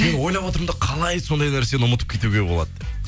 мен ойлап отырмын да қалай сондай нәрсені ұмытып кетуге болады